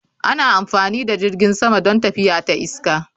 Ana amfani da jirgin sama don tafiya ta iska